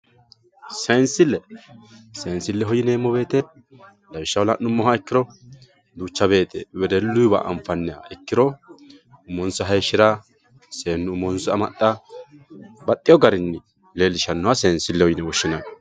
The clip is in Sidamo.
Seensile seensileho yineemowoyite lawishshaho lan`umoha ikiro duuchawoyiye wedeluyiwa anfayiha ikiro umonsa hayishira seenu umonsa amaxa baxewo garini leelishanoha seensileho yine woshinani.